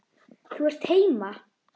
Þú ert heima!